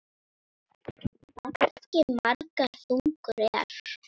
Baggi margra þungur er.